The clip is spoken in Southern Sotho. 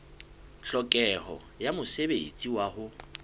tlhokeho ya mosebetsi wa ho